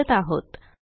वापरत आहोत